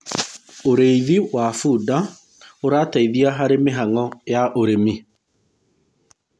ũrĩithi wa bunda urateithia harĩ mihang'o ya ũrĩmi